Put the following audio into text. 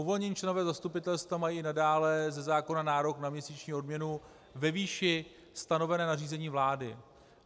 Uvolnění členové zastupitelstva mají i nadále ze zákona nárok na měsíční odměnu ve výši stanovené nařízením vlády.